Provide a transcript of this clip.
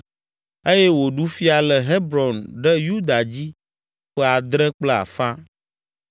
eye wòɖu fia le Hebron ɖe Yuda dzi ƒe adre kple afã.